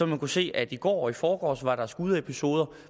man kunne se at i går og i forgårs var der skudepisoder